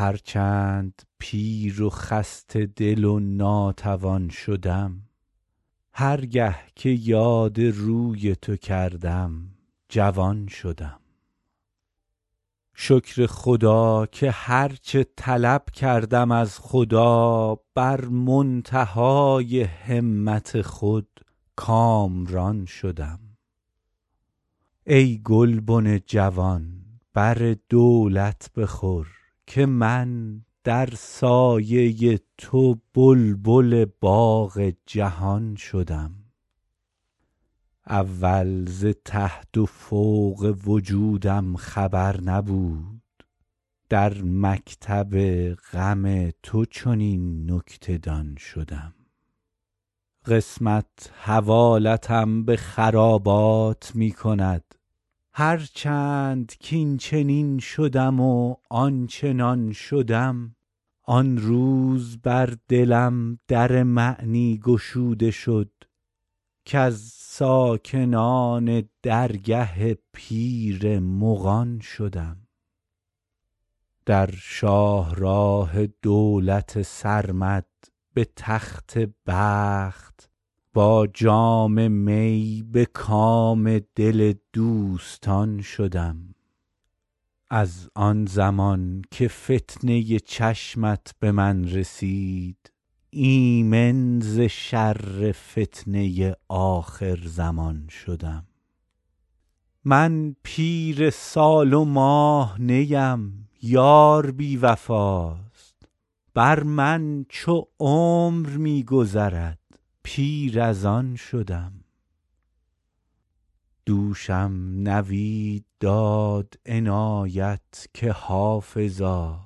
هر چند پیر و خسته دل و ناتوان شدم هر گه که یاد روی تو کردم جوان شدم شکر خدا که هر چه طلب کردم از خدا بر منتهای همت خود کامران شدم ای گلبن جوان بر دولت بخور که من در سایه تو بلبل باغ جهان شدم اول ز تحت و فوق وجودم خبر نبود در مکتب غم تو چنین نکته دان شدم قسمت حوالتم به خرابات می کند هر چند کاینچنین شدم و آنچنان شدم آن روز بر دلم در معنی گشوده شد کز ساکنان درگه پیر مغان شدم در شاه راه دولت سرمد به تخت بخت با جام می به کام دل دوستان شدم از آن زمان که فتنه چشمت به من رسید ایمن ز شر فتنه آخرزمان شدم من پیر سال و ماه نیم یار بی وفاست بر من چو عمر می گذرد پیر از آن شدم دوشم نوید داد عنایت که حافظا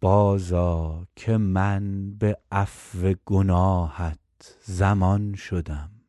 بازآ که من به عفو گناهت ضمان شدم